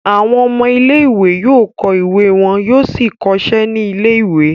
Àwọn ọmọ ilé-ìwé yóò kọ́ ìwé wọn yóò sì kọ iṣẹ́ ní ilé-ìwé.